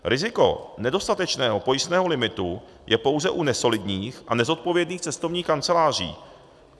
Riziko nedostatečného pojistného limitu je pouze u nesolidních a nezodpovědných cestovních kanceláří.